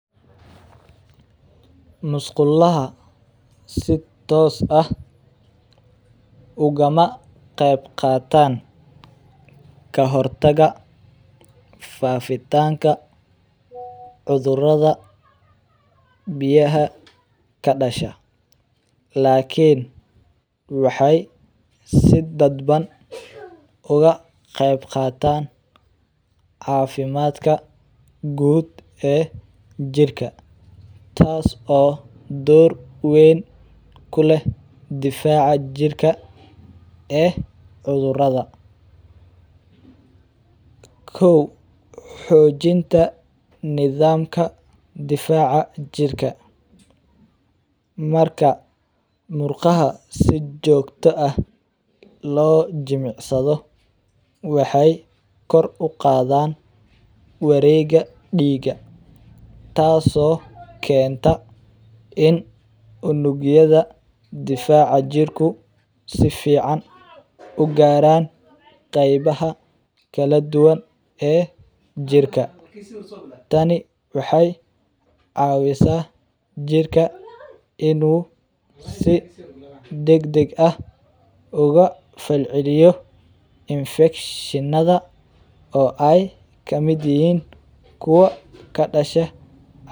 Musquulaha si toos aah uguma qeyb qatan kahortagta fafitanka cudurada biyaha kadasha lakin waxay si dadban uga qeyb qatan cafimadka guud e jirka taas o dowr kuweyn kuleh difaca jirka e cudurada. Kow xojinta nidhamka difaca jirka marka murqaha si joogta ah lo jimicsado waxay kor u qadan wareega diiga, taas o kenta in unugyada difaca jirku sifican u garan qeybaha kala duwane e jirka tani waxay cawisa jirka inu si dagdag ah uga falciliyo infegshiinada o ay kamid yahin kuwa kadasha.